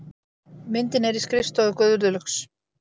Myndin er í skrifstofu Guðlaugs